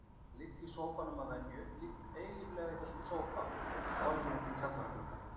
Ég ligg í sófanum að venju, ligg eilíflega í þessum sófa, horfi út um kjallaragluggann.